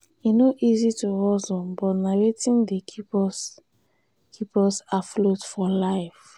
e no easy to hustle but na wetin dey keep us keep us afloat for life.